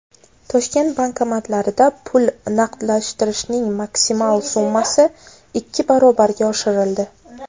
Toshkent bankomatlarida pul naqdlashtirishning maksimal summasi ikki barobarga oshirildi.